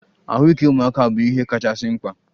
Ahụike ụmụaka bụ ihe kachasị mkpa.